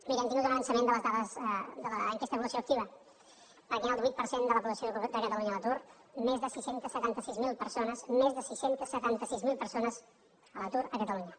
miri hem tingut un avançament de les dades de l’enquesta de població activa perquè hi ha el divuit per cent de la població de catalunya a l’atur més de sis cents i setanta sis mil persones més de sis cents i setanta sis mil persones a l’atur a catalunya